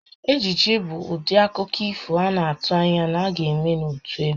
Ejije bụ ụdị akụkọ ifo a na-atụ anya na a ga-eme ya n'otu ebe